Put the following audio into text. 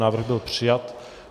Návrh byl přijat.